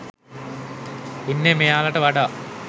ඉන්නේ මෙයාලට වඩා